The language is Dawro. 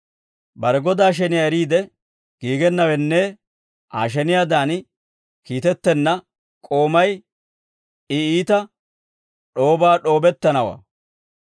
Bare godaa sheniyaa eriide giigennawenne Aa sheniyaadan kiitettenna k'oomay, I iita d'oobaa d'oobettanawaa.